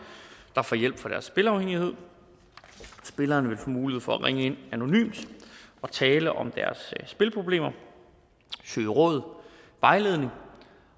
der får hjælp for deres spilafhængighed spillerne vil få mulighed for at ringe ind anonymt og tale om deres spilproblemer søge råd og vejledning